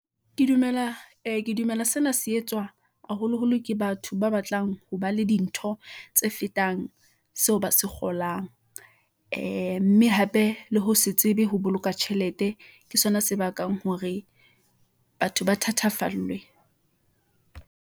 ee ke dumela sena se etswa haholoholo ke batho ba batlang ho ba le dintho , tse fetang seo ba se kgolang . Ee mme hape le ho se tsebe ho boloka tjhelete , ke sona se bakang hore batho ba thathafallwe.